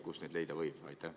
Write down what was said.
Kust need leida võib?